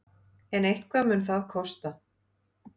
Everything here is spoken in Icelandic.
En eitthvað mun það kosta.